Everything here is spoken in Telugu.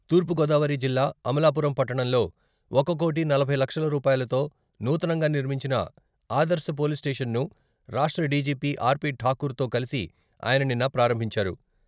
తూర్పుగోదావరి జిల్లా అమలాపురం పట్టణంలో ఒక కోటీ నలభై లక్షల రూపాయలతో నూతనంగా నిర్మించిన ఆదర్శ పోలీస్ స్టేషన్ ను రాష్ట్ర డీజీపీ ఆర్.పి.ఠాకూర్ తో కలిసి ఆయన నిన్న ప్రారంభించారు.